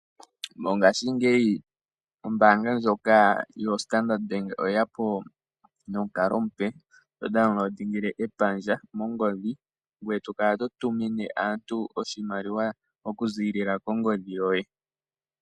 Mongashingeyi ombaanga ndjoka yoStandard Bank oye ya po nomukalo omupe to tula epandja lyopaungomba mongodhi ngoye to kala to tumine aantu oshimaliwa okuziilila kongodhi yoye.